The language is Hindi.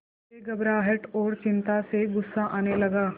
मुझे घबराहट और चिंता से गुस्सा आने लगा